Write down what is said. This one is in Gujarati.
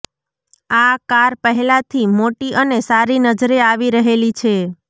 આ કાર પહેલાથી મોટી અને સારી નજરે આવી રહેલી છે